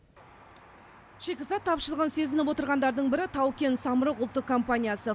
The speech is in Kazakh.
шикізат тапшылығын сезініп отырғандардың бірі тау кен самұрық ұлттық компаниясы